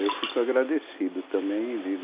Eu fico agradecido também